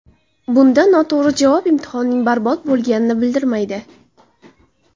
Bunda noto‘g‘ri javob imtihonning barbod bo‘lganini bildirmaydi.